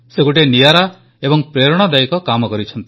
ସେ ଗୋଟିଏ ନିଆରା ଏବଂ ପ୍ରେରଣାଦାୟକ କାମ କରିଛନ୍ତି